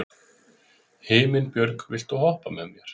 Himinbjörg, viltu hoppa með mér?